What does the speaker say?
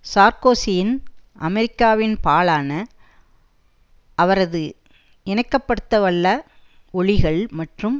சார்க்கோசியின் அமெரிக்காவின் பாலான அவரது இணக்கப்படுத்தவல்ல ஒலிகள் மற்றும்